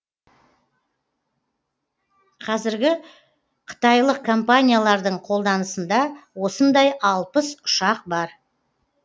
қазіргі қытайлық компаниялардың қолданысында осындай алпыс ұшақ бар